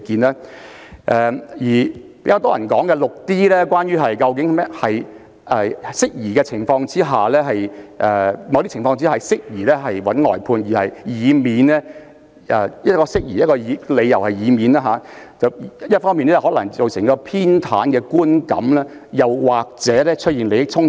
至於較多人討論的第 6d 項，則涉及一些適宜外判的情況，指出在某些情況下適宜尋求外間律師的意見，以免一方面造成偏袒的觀感，另一方面出現利益衝突。